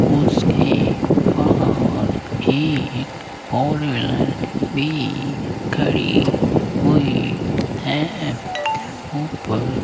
उसके बाहर एक फोर व्हीलर भी खड़ी हुई है ऊपर --